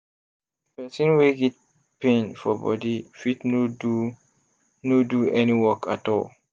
person wey get pain for body fit no do no do any work at all